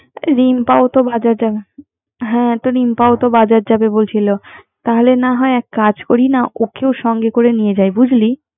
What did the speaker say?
রিম্প তো বাজার যাবে হ্যা রিম্পও বাজার যাবে বলছিল তাহলে এক কাজ করিনা ওকে ও সংগে করে নিয় যায়, বুঝলি